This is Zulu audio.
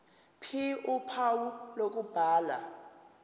ph uphawu lokubhala